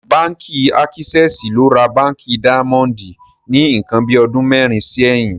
Bánkì Àkísẹsì ló rà Bánkì Daimondì ní nkan bí ọdún mẹrin síyìn